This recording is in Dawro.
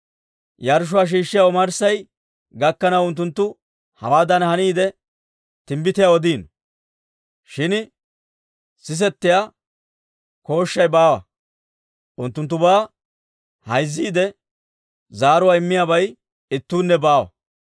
Yarshshuwaa shiishshiyaa omarssay gakkanaw unttunttu hewaadan haniidde, timbbitiyaa odiino; shin sisetiyaa kooshshay baawa. Unttunttubaa hayzziide zaaro immiyaabay ittuunne baawa.